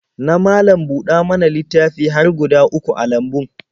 Na malam-buɗa-mana-littafi har guda uku a lambun.